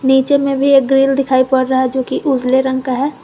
नीचे में भी एक ग्रिल दिखाई पड़ रहा है जो कि उजले रंग का है।